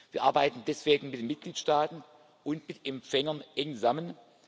Wir arbeiten deswegen mit den Mitgliedstaaten und mit Empfängern eng zusammen.